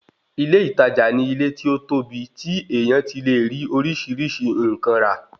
Ilé ìtajà ni ilé tí ó tóbi tí èèyàn ti lè rí oríṣìíríṣìí nǹkan rà